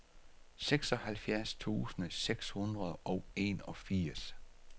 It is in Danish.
seksoghalvfjerds tusind seks hundrede og enogfirs